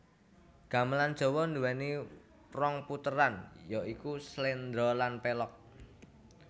Gamelan Jawa duwéni rong puteran ya iku sléndra lan pélog